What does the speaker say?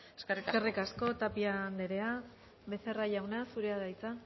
eskerrik asko eskerrik asko tapia andrea becerra jauna zurea da hitza